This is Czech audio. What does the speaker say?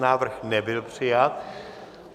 Návrh nebyl přijat.